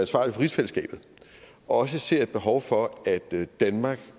for rigsfællesskabet også ser et behov for at danmark